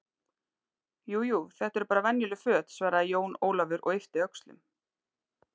Jú, jú, þetta eru bara venjuleg föt, svaraði Jón Ólafur og yppti öxlum.